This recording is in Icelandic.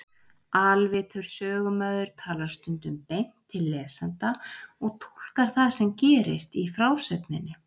Alvitur sögumaður talar stundum beint til lesenda og túlkar það sem gerist í frásögninni.